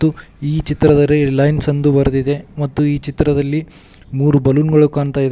ಮತ್ತು ಈ ಚಿತ್ರದಲ್ಲಿ ರಿಲಯನ್ಸ್ ಎಂದು ಬರೆದಿದೆ ಮತ್ತು ಈ ಚಿತ್ರದಲ್ಲಿ ಮೂರು ಬಲೂನ್ ಗಳು ಕಾಣ್ತಾ ಇದೆ.